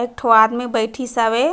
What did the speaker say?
एक ठो आदमी बइठीस हावे।